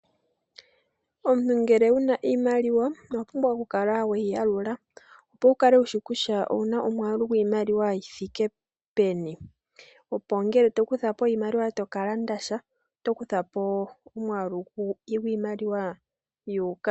Omuntu ngele wu na iimaliwa owa pumbwa okukala weyi yalula opo wu kale wushi kutya owu na omwaalu giimaliwa yi thike peni opo ngele to kutha po iimaliwa toka landa sha oto kutha po omwaalu gwiimaliwa yuuka.